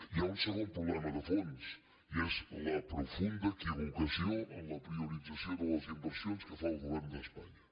hi ha un segon problema de fons i és la profunda equivocació en la priorització de les inversions que fa el govern d’espanya